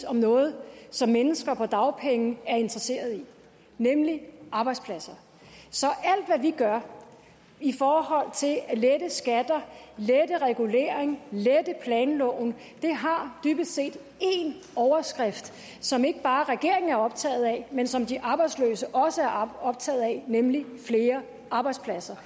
om noget som mennesker på dagpenge er interesseret i nemlig arbejdspladser så alt hvad vi gør i forhold til at lette skatter lette regulering lette planloven har dybest set én overskrift som ikke bare regeringen er optaget af men som de arbejdsløse også er optaget af nemlig flere arbejdspladser